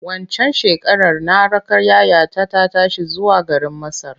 Waccan shekarar na raka yayata ta tashi zuwa garin Masar.